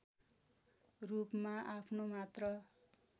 रूपमा आफ्नो मात्र